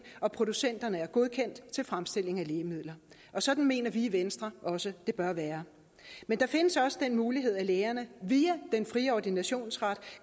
og producenterne er godkendt til fremstilling af lægemidler sådan mener vi i venstre også det bør være men der findes også den mulighed at lægerne via den fri ordinationsret